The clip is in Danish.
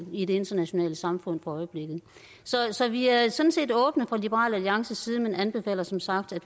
i det internationale samfund for øjeblikket så vi er sådan set åbne fra liberal alliances side men anbefaler som sagt at